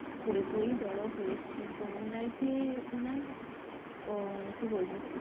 পড়ে পড়ে বড় হয়েছি তহ ওনার যে ওনার কি বলব